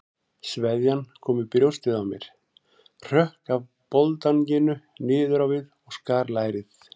Sveðjan kom í brjóstið á mér, hrökk af boldanginu niður á við og skar lærið.